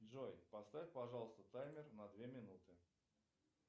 джой поставь пожалуйста таймер на две минуты